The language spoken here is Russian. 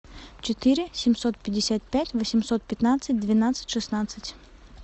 четыре семьсот пятьдесят пять восемьсот пятнадцать двенадцать шестнадцать